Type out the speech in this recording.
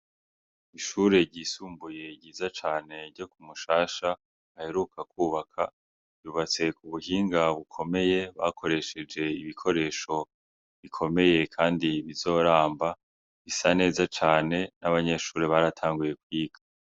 Ishure ryisumbuye ryiza cane ryo Kumushasha baheruka kwubaka ryubatse mu buhinga bukomeye bakoresheje ibikoresho bikomeye kandi bizoramba risa neza cane n' abanyeshure baratanguye kwiga.